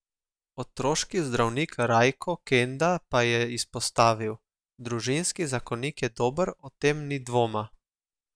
Otroški zdravnik Rajko Kenda pa je izpostavil: "Družinski zakonik je dober, o tem ni dvoma.